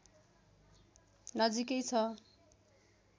नजिकै छ